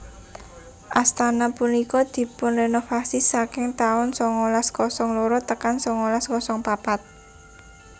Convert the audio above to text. Astana punika dipunrenovasi saking taun songolas kosong loro tekan songolas kosong papat